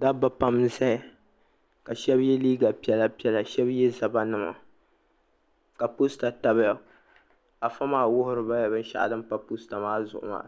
dabba pam n-zaya ka shɛba ye liiga piɛlapiɛla ka shɛba ye zabbanima ka posita tabiya afa maa wuhiri ba la binshɛɣu din pa posita maa zuɣu maa